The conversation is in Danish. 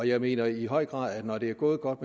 jeg mener i høj grad at når det er gået godt